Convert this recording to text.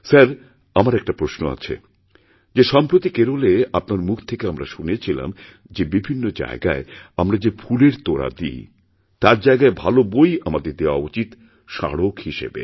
sir আমার একটা প্রশ্ন আছেযে সম্প্রতি কেরলে আপনার মুখ থেকে আমরা শুনেছিলাম যে বিভিন্ন জায়গায় আমরা যে ফুলেরতোড়া দিই তার জায়গায় ভালো বই আমাদের দেওয়া উচিত স্মারক হিসাবে